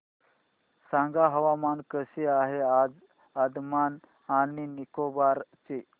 सांगा हवामान कसे आहे आज अंदमान आणि निकोबार चे